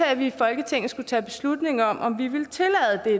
at vi i folketinget skulle tage beslutning om